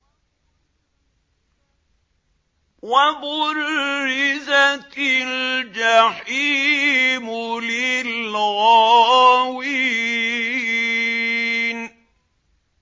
وَبُرِّزَتِ الْجَحِيمُ لِلْغَاوِينَ